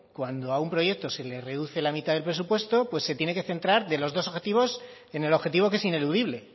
cuando a un proyecto se le reduce la mitad del presupuesto se tiene que centrar de los dos objetivos en el objetivo que es ineludible